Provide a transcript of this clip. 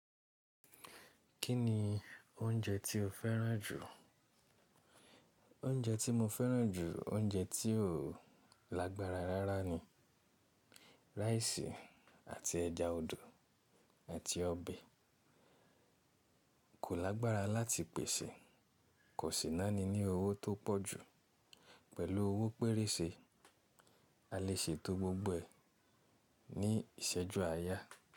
Kí ni oúnjẹ tí o fẹ́ràn jù? Oúnjẹ tí mo fẹ́ràn jù, oúnjẹ tí ò lágbára rárá ni. Raisi àti ẹja odò àti ọbẹ̀ kò lágbára láti pèsè. Kò sì náání ní owó tó pọ̀ jù. Pẹ̀lú owó pérése, a lè ṣe to gbogbo ẹ̀ ní ìṣẹ́jú àáyá.